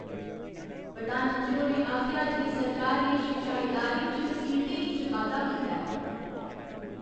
प्रधानमंत्री होरें आखेआ जे सरकार ने शिक्षा इदारें च सीटें इच बाद्दा कीता ऐ।